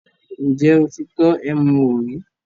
Ǹjẹ́ o ti tọ́ ẹmu wò rí?